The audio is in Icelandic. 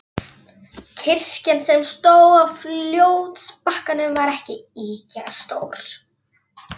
Kirkjan, sem stóð á fljótsbakkanum, var ekki ýkja stór.